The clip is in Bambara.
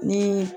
Ni